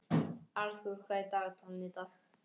Arthur, hvað er í dagatalinu í dag?